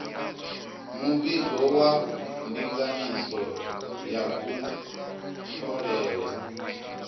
muvhigo wa ndinganyiso ya kutholele